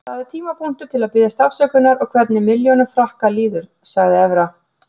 Þetta er tímapunktur til að biðjast afsökunar og hvernig milljónum Frakka líður, sagði Evra.